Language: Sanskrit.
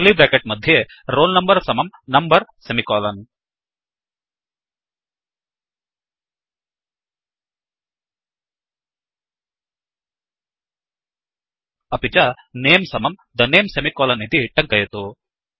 कर्लि ब्रेकेट् मध्ये roll number समं नम्बर सेमिकोलन् अपि च नमे समं the name सेमिकोलन् इति टङ्कयतु